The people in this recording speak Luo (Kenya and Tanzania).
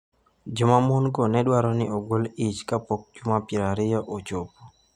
Joma mon-go ne dwaro ni ogol ich kapok juma 20 ochopo.